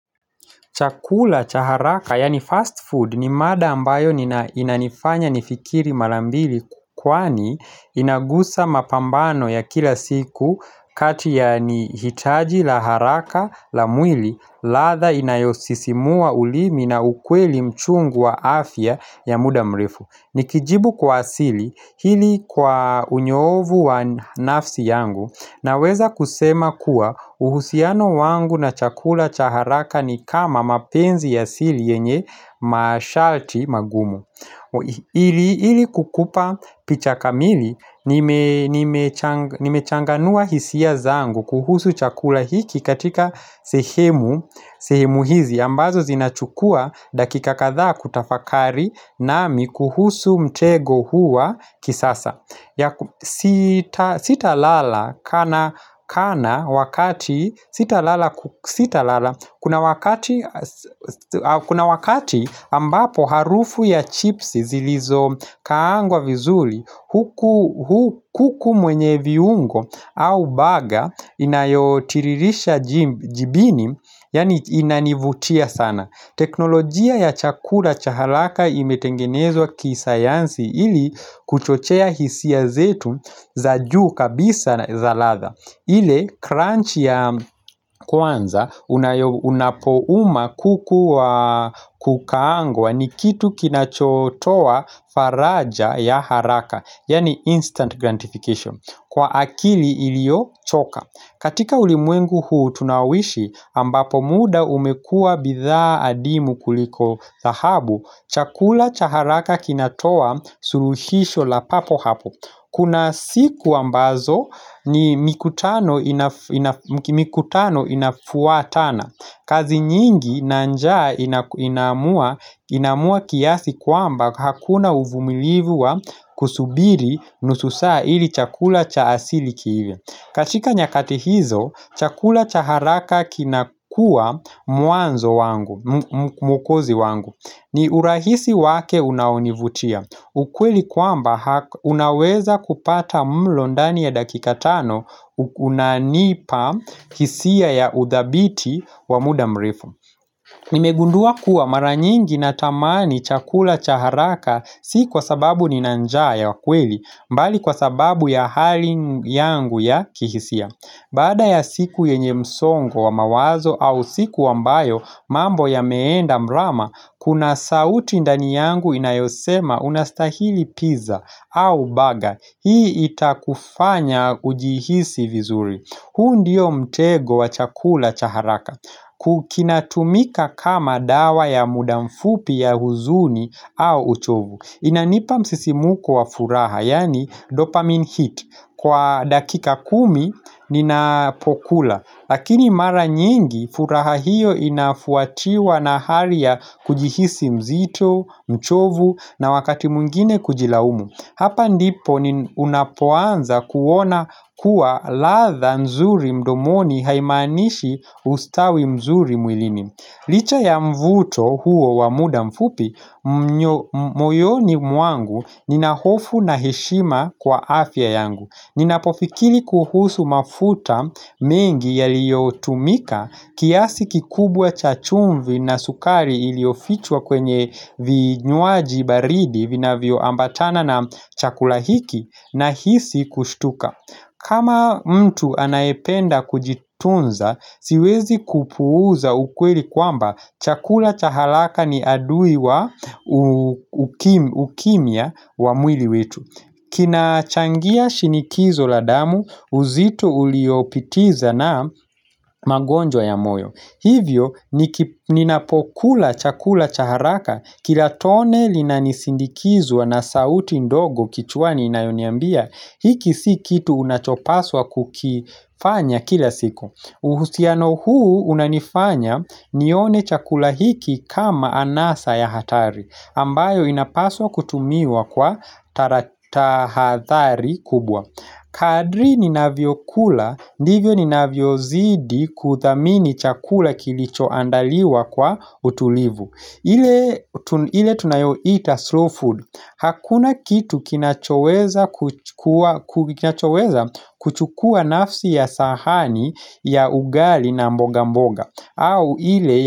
Chakula, cha haraka, yani fast food, ni mada ambayo inanifanya nifikiri malambili Kwani inagusa mapambano ya kila siku kati yaa ni hitaji la haraka la mwili latha inayosisimua ulimi na ukweli mchungu wa afya ya muda mrifu Nikijibu kwa asili, hili kwa unyoovu wa nafsi yangu Naweza kusema kuwa uhusiano wangu na chakula chaharaka ni kama mapenzi ya sili yenye mashalti magumu ili kukupa picha kamili nimechanganua hisia zangu kuhusu chakula hiki katika sehemu hizi ambazo zinachukua dakika kadhaa kutafakari nami kuhusu mtego hu wa kisasa Sitalala kuna wakati ambapo harufu ya chipsi zilizokaangwa vizuli kuku mwenye viungo au baga inayotiririsha jibini Yani inanivutia sana teknolojia ya chakula cha halaka imetengenezwa kisayansi ili kuchochea hisia zetu za juu kabisa za latha ile crunch ya kwanza unapouma kukuwa kukaangwa ni kitu kinachotowa faraja ya haraka Yani instant grantification Kwa akili ilio choka katika ulimwengu huu tunaowishi ambapo muda umekua bidhaa adimu kuliko thahabu Chakula cha haraka kinatoa suruhisho la papo hapo Kuna siku ambazo ni mikutano inafuwatana kazi nyingi na njaa inamua kiasi kwamba Hakuna uvumilivu wa kusubiri nusu saa ili chakula cha asili kiive katika nyakati hizo chakula cha haraka kinakuwa muanzo wangu ni urahisi wake unaonivutia ukweli kwamba unaweza kupata mlo ndani ya dakika tano unanipa kisiya ya udhabiti wa muda mrefu Nimegundua kuwa mara nyingi natamani chakula cha haraka Si kwa sababu nina njaa ya kweli mbali kwa sababu ya hali yangu ya kihisia Baada ya siku yenye msongo wa mawazo au siku ambayo mambo yameenda mrama Kuna sauti ndani yangu inayosema unastahili pizza au baga Hii itakufanya ujihisi vizuri huu ndio mtego wa chakula cha haraka Kukinatumika kama dawa ya mudamfupi ya huzuni au uchovu Inanipa msisimuko wa furaha Yani dopamine hit Kwa dakika kumi ninapokula Lakini mara nyingi furaha hiyo inafuatiwa na haria kujihisi mzito, mchovu na wakati mungine kujilaumu Hapa ndipo ni unapoanza kuona kuwa latha nzuri mdomoni haimanishi ustawi mzuri mwilini Licha ya mvuto huo wa muda mfupi, moyoni mwangu nina hofu na heshima kwa afya yangu Ninapofikili kuhusu mafuta mengi yaliyo tumika kiasi kikubwa cha chumvi na sukari iliofichwa kwenye vinywaji baridi vinavyoambatana na chakula hiki nahisi kushtuka kama mtu anaependa kujitunza siwezi kupuuza ukweli kwamba chakula cha halaka ni adui wa ukimia wa mwili wetu kina changia shinikizo la damu uzito uliopitiza na mangonjwa ya moyo Hivyo ninapokula chakula cha haraka kila tone linanisindikizwa na sauti ndogo kichwani inayoniambia hiki si kitu unachopaswa kukifanya kila siku uhusiano huu unanifanya nione chakula hiki kama anasa ya hatari ambayo inapaswa kutumiwa kwa taratahathari kubwa Kadri ninavyokula, ndivyo ninavyozidi kuthamini chakula kilicho andaliwa kwa utulivu ile tunayo ita slow food Hakuna kitu kinachoweza kuchukua nafsi ya sahani ya ugali na mboga mboga au ile.